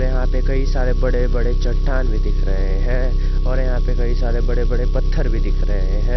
यहां पे कई सारे बड़े बड़े चट्टान भी दिख रहे हैं और यहां पे कई सारे बड़े बड़े पत्थर भी दिख रहे हैं।